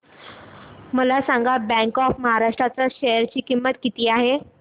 मला सांगा bank of Maharashtra च्या शेअर ची किंमत काय आहे